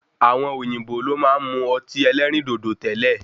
Àwọn òyìnbó lo máa ń mu ọtí ẹlẹ́rìndòdò tẹ́lẹ̀.